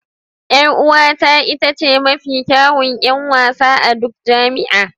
Yar'uwata ita ce mafi kyawun 'yan wasa a duk jami'a